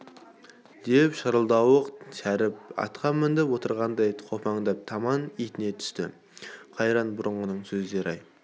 деп шырылдауық шәріп атқа мініп отырғандай қопаңдап таман итіне түсті қайран бұрынғының сөздері-ай